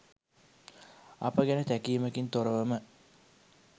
අප ගැන තැකීමකින් තොරවම